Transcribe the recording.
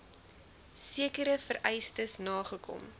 sekere vereistes nagekom